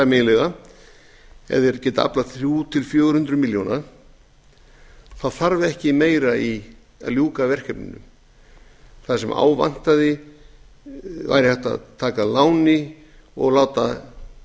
ef þeir geta aflað þrjú hundruð til fjögur hundruð milljónir þá þarf ekki meira í að ljúka verkefninu það sem á vantaði væri hægt að taka að